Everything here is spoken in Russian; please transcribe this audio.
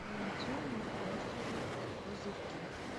найди мне острые козырьки